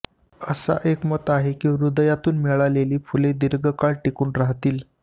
असा एक मत आहे की हृदयातून मिळालेली फुलं दीर्घकाळ टिकून राहतील